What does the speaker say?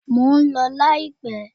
Mo ń lọ láìpẹ́.